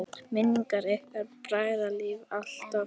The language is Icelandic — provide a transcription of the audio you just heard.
Minning ykkar bræðra lifir alltaf!